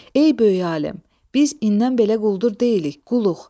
Ey böyük alim, biz indən belə quldur deyilik, quluq.